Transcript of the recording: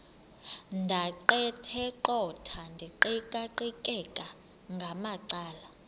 ndaqetheqotha ndiqikaqikeka ngamacala